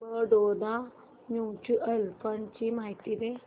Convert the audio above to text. Baroda mutual fund ची माहिती दे